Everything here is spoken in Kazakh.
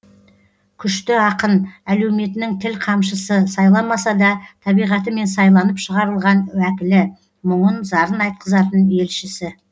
күшті ақын әлеуметінің тіл қамшысы сайламаса да табиғатымен сайланып шығарылған уәкілі мұңын зарын айтқызатын елшісі